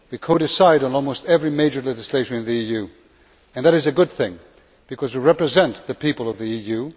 We co decide on almost all major legislation in the EU, and that is a good thing, because we represent the people of the EU.